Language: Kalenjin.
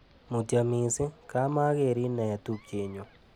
Mutyo mising, kamagerin eeh tupchenyu.